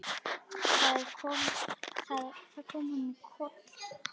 Það kom honum í koll.